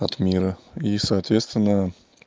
от мира и соответственно